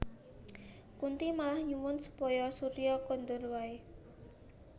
Kunthi malah nyuwun supaya Surya kondur wae